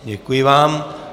Děkuji vám.